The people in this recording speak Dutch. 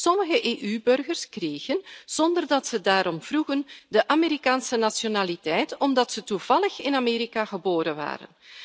Sommige EU burgers kregen, zonder dat ze daarom vroegen, de Amerikaanse nationaliteit, omdat ze toevallig in Amerika geboren werden.